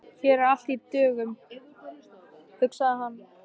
Hér er allt í dögun, hugsaði hann.